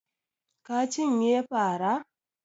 Ka cinye fara?